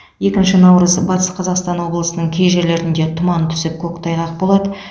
екінші наурыз батыс қазақстан облысының кей жерлерінде тұман түсіп көктайғақ болады